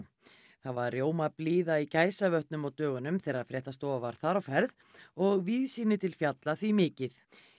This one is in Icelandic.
það var rjómablíða í Gæsavötnum á dögunum þegar fréttastofa var þar á ferð og víðsýni til fjalla því mikið